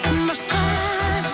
басқа